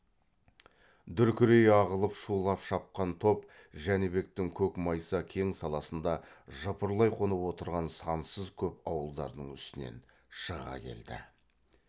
дүркірей ағылып шулап шапқан топ жәнібектің көк майса кең саласында жыпырлай қонып отырған сансыз көп ауылдардың үстінен шыға келді